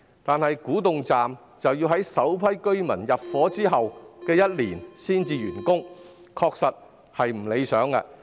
然而，古洞站要在首批居民入伙1年後才竣工，確實有欠理想。